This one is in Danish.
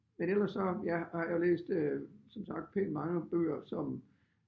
Men ellers så ja har jeg læst øh som sagt pænt mange bøger som